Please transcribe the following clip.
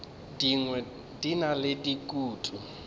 dingwe di na le dikutu